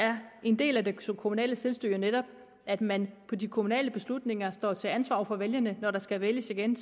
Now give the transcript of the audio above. er en del af det kommunale selvstyre jo netop at man med de kommunale beslutninger står til ansvar over for vælgerne når der skal vælges igen